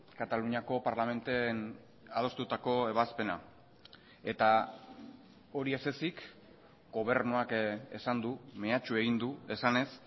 kataluniako parlamenten adostutako ebazpena eta hori ez ezik gobernuak esan du mehatxu egin du esanez